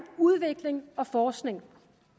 udvikling og forskning